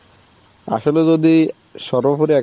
আসলে যদি সর্বোপরি